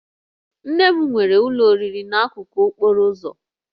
Nne m nwere ụlọ oriri n'akụkụ okporo ụzọ